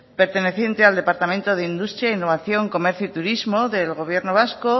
perteneciente al departamento de industria innovación comercio y turismo del gobierno vasco